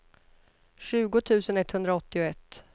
tjugo tusen etthundraåttioett